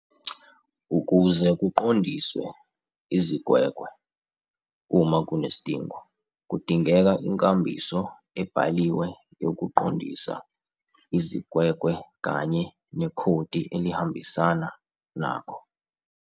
Ukuze kuqondiswe izigwegwe uma kunesidingo, kudingeka inkambiso ebhaliwe yokuqondisa izigwegwe kanye nekhodi elihambisana nakho.